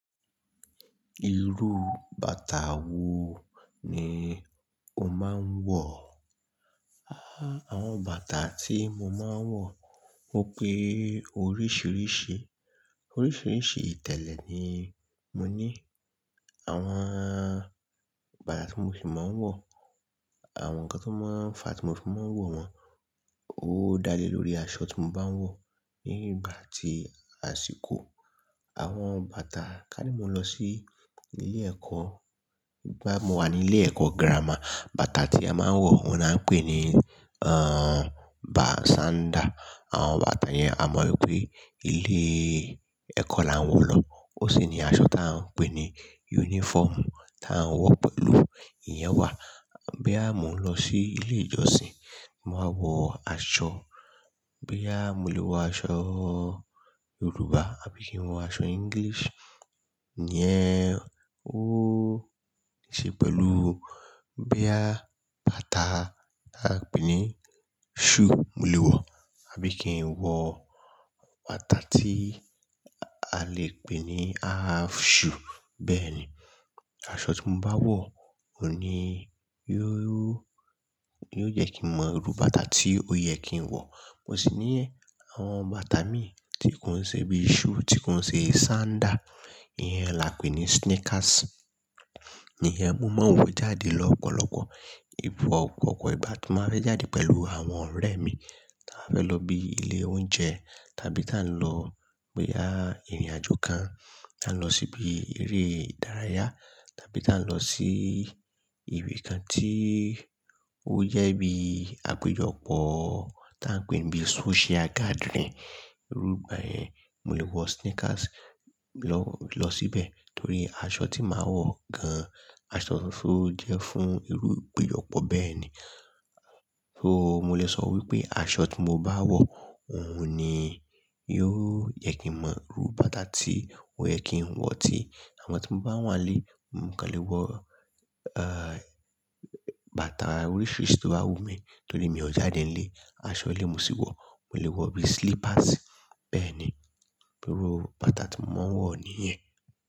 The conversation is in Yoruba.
Irú bàtà wo ni o máa ń wọ̀? Áwọn bàtà tí mo máa ń wọ̀, ó pé oríṣìíríṣìí. Oríṣìíríṣìí ìtẹ̀lẹ̀ ni mo ní. Àwọn bàtà tí mo sì máa ń wọ̀, àwọn nkankan máa ń fà á tí mo fì máa ń wọ̀ wọ́n, ó dá lé lórí aṣọ tí mo bá wọ̀. Ní ìgbà tí àsìkò, àwọn bàtà ká ní mo lọ n sí ilé ẹ̀kọ́, ìgbà mo wà ní ilé ẹ̀kọ́ gírámà, bàtà tí a máa ń wọ̀, òun la ń pè ní, ẹ́, bà-- sandal. Àwọn bàtà yẹn a mọ̀ wípé ilé ẹ̀kọ́ la ń wọ̀ lọ. Ó sì ni aṣọ ta ń pè ní uniform ta ń wọ̀ pẹ̀lú ìyẹn wà. Boya mo ń lọ sí ilé ìjọsìn, mo wa wọ aṣọ. Boya mo lè wọ aṣọ Yorùbá àbí kí n wọ aṣọ English, iyẹn ó niṣe pẹ̀lú. Boya bàtà ta ń pè ní shoe mo lè wọ̀, àbí kí n wọ bàtà tí a lè pè ní half shoe. Bẹ́ẹ̀ ni. Aṣọ tí mo bá wọ̀, òun ni yóò, yóò jẹ́ kí n mọ irú bàtà tí ó yẹ kí n wọ̀. Mo sì ní, àwọn bàtà mi tí kò ń ṣe bíi shoe, tí kò ń ṣe sandal, ìyẹn làá pè ní sneakers. Ìyẹn mo máa ń wọ̀ jáde lọ́pọlọ́pọ. Fun opopo ìgbà tí n bá fẹ́ jáde pẹ̀lú àwọn ọ̀rẹ́ mi, ta ba fẹ́ lọ bí ilé oúnjẹ, tàbí tà ń lọ boya ìrìnàjò kan, tà ń lọ síbi eré ìdárayá, tàbí tà ń lọ sí ibi kan tí ó jẹ bí àpéjọpọ̀, tà ń pè n bí social gathering. Irú ìgbà yẹn, mo lè wọ sneakers lọ, lọ síbẹ̀. Torí aṣọ tí màá wọ̀ gan-an, aṣọ to jẹ́ fún irú ipéjọpọ̀ bẹ́ẹ̀ ni. So mo lè sọ wípé aṣọ tí mo bá wọ̀, òun ni yóò jẹ́ kí mọ irú bàtà tí ó yẹ kí n wọ̀ tí. Àmọ́ tí mo bá wà nílé, mo kàn lè wọ, ẹ́, bàtà oríṣìíríṣìí tó bá wù mí. Torí mi ò jáde nílé, aṣọ ilé mo sì wọ̀. Mo lè wọ bí slippersi Bẹ́ẹ̀ ni. Irú bàtà tí mo máa ń wọ̀ nìyẹn.